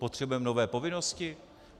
Potřebujeme nové povinnosti?